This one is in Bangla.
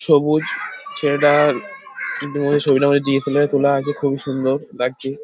সবুজ ছেলেটার ডি .এস. এল. আর -এ তোলা আছে খুবই সুন্দর লাগছে।